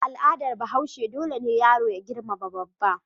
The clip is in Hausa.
A al'adar Bahaushe dole ne yaro ya girmama babba.